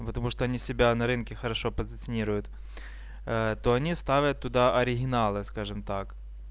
потому что они себя на рынке хорошо позиционируют то они ставят туда оригиналы скажем так